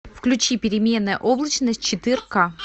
включи переменная облачность четыре ка